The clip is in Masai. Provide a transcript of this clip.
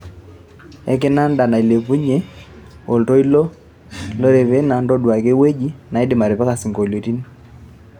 ekinanda nailepunyi oltoito e orevena ntoduaki ewueji naidim atipika sinkoliotin